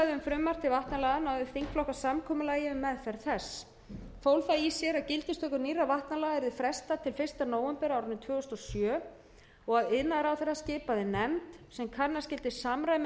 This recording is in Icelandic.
vatnalaga náðu þingflokkar samkomulagi um meðferð þess fól það í sér að gildistöku nýrra vatnalaga yrði frestað til fyrsta nóvember tvö þúsund og sjö og að iðnaðarráðherra skipaði nefnd sem kanna skyldi samræmi